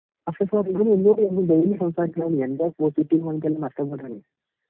പക്ഷെ ഇപ്പോൾ ഇവന് എന്നോട് ഡെയിലി സംസാരിക്കാൻ